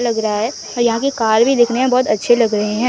लग रहा है यहां के कार भी दिखने में बहोत अच्छे लग रहे है।